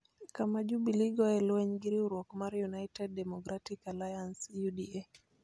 kama Jubili goye lweny gi riwruok mar United Democratic Alliance (UDA).